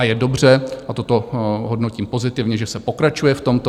A je dobře - a toto hodnotím pozitivně - že se pokračuje v tomto.